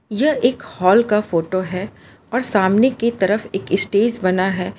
यह एक हॉल का फोटो है और सामने की तरफ एक स्टेज बना है।